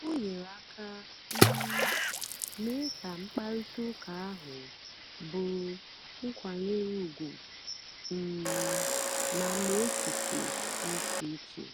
o nyèrè àka um meé kà mkpáịrịtà ụ́ka ahụ́ bụ́rụ́ nkwànyè ùgwù um ma mgbè èchìchè dị́ ìchè ìchè.